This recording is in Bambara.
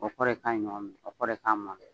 o kɔrɔ ye k'a ye ɲɔgɔn minɛn o kɔrɔ ye k'a mɔn na.